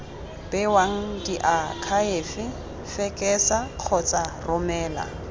bewang diakhaefe fekesa kgotsa romela